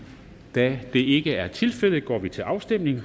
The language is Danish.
da det ikke er tilfældet går vi til afstemning